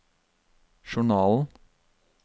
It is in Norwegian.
journalen